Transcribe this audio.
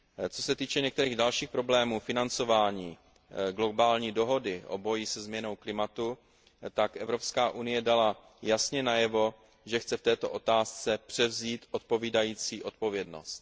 Co se týče některých dalších problémů financování globální dohody o boji se změnou klimatu, tak EU dala jasně najevo, že chce v této otázce převzít odpovídající odpovědnost.